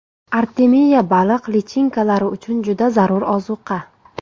Artemiya baliq lichinkalari uchun juda zarur ozuqa.